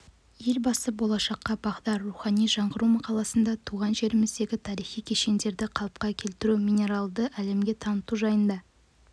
елбасы болашаққа бағдар рухани жаңғыру мақаласында туған жеріміздегі тарихи кешендерді қалыпқа келтіру меноларды әлемге таныту жайында